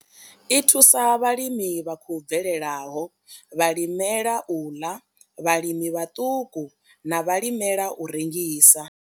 I thusa vhalimi vha khou bvelelaho, vhalimela u ḽa, vhalimi vhaṱuku na vhalimela u rengisa.